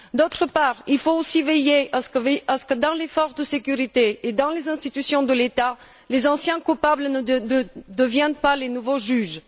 D'autre part, il faut aussi veiller à ce que, dans les forces de sécurité et dans les institutions de l'État, les anciens coupables ne deviennent pas les nouveaux juges.